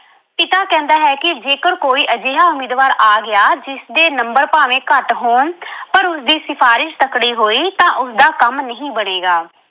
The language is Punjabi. ਪਿਤਾ ਕਹਿੰਦਾ ਹੈ ਕਿ ਜੇਕਰ ਕੋਈ ਅਜਿਹਾ ਉਮੀਦਵਾਰ ਆ ਗਿਆ ਜਿਸਦੇ number ਭਾਵੇਂ ਘੱਟ ਹੋਣ ਪਰ ਉਸਦੀ ਸਿਫਾਰਿਸ਼ ਤਕੜੀ ਹੋਈ ਤਾਂ ਉਸਦਾ ਕੰਮ ਨਹੀਂ ਬਣੇਗਾ।